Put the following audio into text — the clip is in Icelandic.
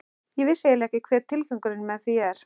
Ég vissi eiginlega ekki hver tilgangurinn með því er.